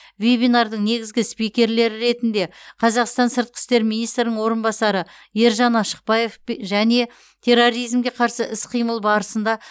вебинардың негізгі спикерлері ретінде қазақстан сыртқы істер министрінің орынбасары ержан ашықбаев және терроризмге қарсы іс қимыл барысында